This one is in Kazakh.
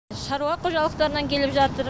шаруа қожалықтарынан келіп жатыр